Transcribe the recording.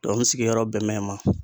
n sigiyɔrɔ bɛn bɛ yen ma.